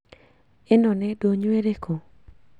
Ĩno nĩ ndũnyũ ĩrĩkũ?